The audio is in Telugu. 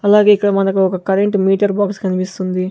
అలాగే ఇక్కడ మనకు ఒక కరెంటు మీటర్ బాక్స్ కనిపిస్తుంది.